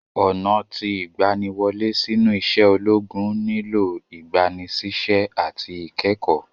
Ọna ti igbaniwole sinu ise ologun nilo igbanisise ati ikẹkọ.